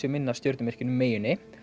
inn að stjörnumerkinu meyjunni